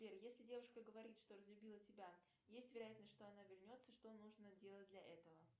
сбер если девушка говорит что разлюбила тебя есть вероятность что она вернется что нужно делать для этого